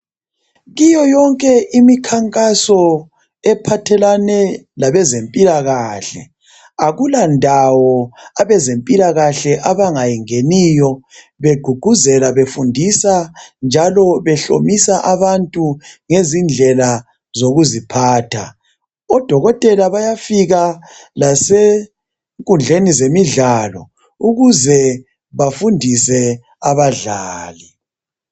Kuyoyonke imikhankaso ephathelane labezempilakahle. Akulandawo abezempilakahle abangayingeniyo begqugquzela befundisa njalo behlomisa abantu ngezindlela zokuziphatha. oDokotela bayafika lasenkundleni zemidlalo ukuze bafundise abadlali.